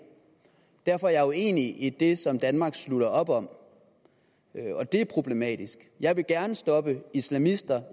derfor er jeg uenig i det som danmark slutter op om det er problematisk jeg vil gerne stoppe islamister